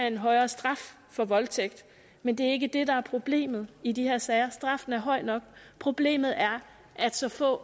en højere straf for voldtægt men det er ikke det der er problemet i de her sager straffen er høj nok problemet er at så få